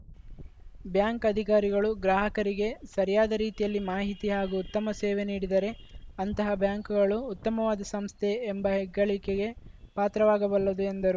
bank ಅಧಿಕಾರಿಗಳು ಗ್ರಾಹಕರಿಗೆ ಸರಿಯಾದ ರೀತಿಯಲ್ಲಿ ಮಾಹಿತಿ ಹಾಗೂ ಉತ್ತಮ ಸೇವೆ ನೀಡಿದರೆ ಅಂತಹ ಬ್ಯಾಂಕುಗಳು ಉತ್ತಮವಾದ ಸಂಸ್ಥೆ ಎಂಬ ಹೆಗ್ಗಳಿಕೆಗೆ ಪಾತ್ರವಾಗಬಲ್ಲದು ಎಂದರು